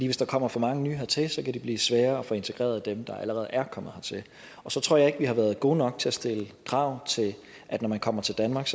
hvis der kommer for mange nye hertil kan det blive sværere at få integreret dem der allerede er kommet hertil og så tror jeg ikke vi har været gode nok til at stille krav til at når man kommer til danmark